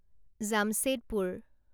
Jamshedpur